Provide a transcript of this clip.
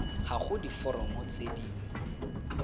ga go diforomo tse di